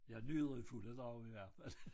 Jeg nyder i fulde drag i hvert fald